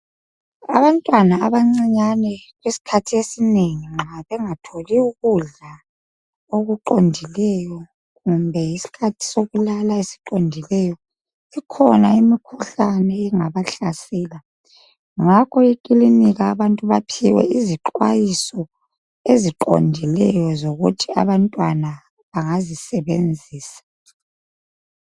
Abantwana abancinyane isikhathi esinengi nxa bengatholi ukudla okuqondileyo, kumbe yisikhathi sokulala esiqondileyo ikhona imkhuhlane engabahlasela, ngakho ekilinika abantu baphiwe izixwayiso eziqondileyo ukuthi bantwana bangazisebenzisa.